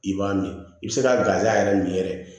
I b'a min i bɛ se ka gaza yɛrɛ min yɛrɛ